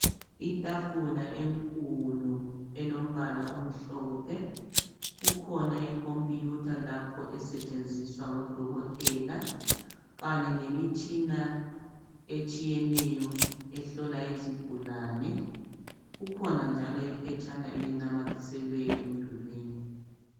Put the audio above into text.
Itafula enkulu elombala omhlophe kukhona icomputer lapho esetshenziswa ngodokotela kanye lemitshina etshiyeneyo ehlola izigulane kukhona njalo iphetshana elinamathiselwe emdulwini.